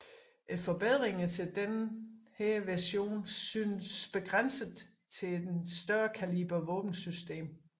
Forbedringerne til denne version synes begrænset til en større kaliber våbensystem